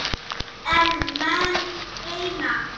En menn reyna.